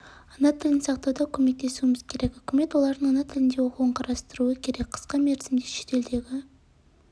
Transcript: ана тілін сақтауда көмектесуіміз керек үкімет олардың ана тілінде оқуын қарастыруы керек қысқа мерзімде шетелдегі